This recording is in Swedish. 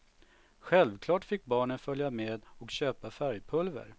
Självklart fick barnen följa med och köpa färgpulver.